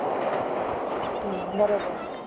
हम्म बरोबर